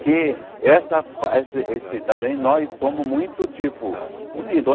Que essa fa esse esse também nós somos muito, tipo, unidos.